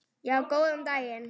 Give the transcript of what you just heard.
Já, góðan daginn.